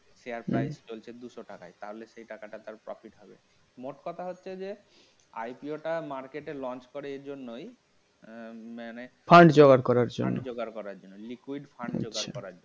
share price চলছে দুশো টাকায় তাহলে সেই টাকাটা তার profit হবে মোট কথা হচ্ছে যে IPO টা market এ launch করে এজন্যই আহ মানে fund জোগাড় করার জন্য fund জোগাড় করার জন্য